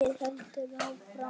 Verkið heldur áfram.